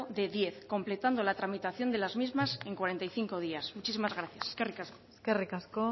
de diez completando la tramitación de las mismas en cuarenta y cinco días muchísimas gracias eskerrik asko eskerrik asko